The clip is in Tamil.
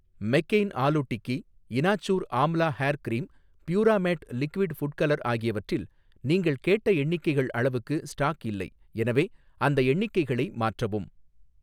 மெக்கெயின் ஆலு டிக்கி, இனாச்சூர் ஆம்லா ஹேர் கிரீம், பியூராமேட் லிக்விட் ஃபுட் கலர் ஆகியவற்றில் நீங்கள் கேட்ட எண்ணிக்கைகள் அளவுக்கு ஸ்டாக் இல்லை, எனவே அந்த எண்ணிக்கைகளை மாற்றவும்